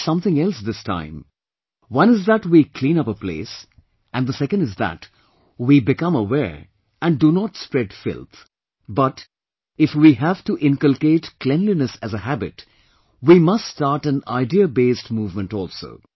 I noticed something else this time one is that we clean up a place, and the second is that we become aware and do not spread filth; but if we have to inculcate cleanliness as a habit, we must start an idea based movement also